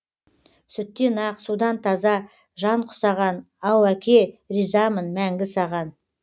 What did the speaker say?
сүттен ақ судан таза жан құсаған ау әке ризамын мәңгі саған